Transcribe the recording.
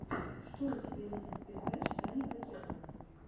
что у тебя есть из передач даника кека